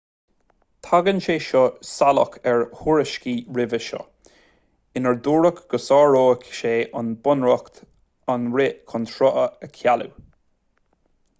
tagann sé seo salach ar thuairiscí roimhe seo inar dúradh go sáródh sé an bunreacht an rith chun srutha a chealú